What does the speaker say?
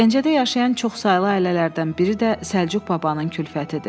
Gəncədə yaşayan çoxsaylı ailələrdən biri də Səlcuq babanın kulfətidir.